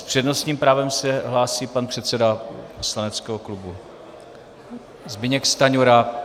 S přednostním právem se hlásí pan předseda poslaneckého klubu Zbyněk Stanjura.